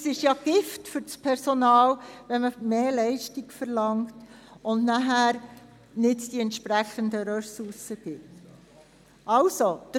Es ist Gift für das Personal, wenn mehr Leistung verlangt wird und die entsprechenden Ressourcen nicht vorhanden sind.